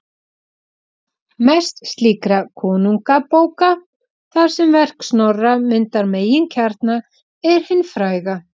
Mest slíkra konungabóka, þar sem verk Snorra myndar meginkjarna, er hin fræga